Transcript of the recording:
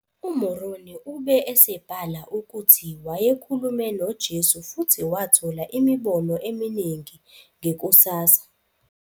UMoroni ube esebhala ukuthi wayekhulume noJesu futhi wathola imibono eminingi ngekusasa.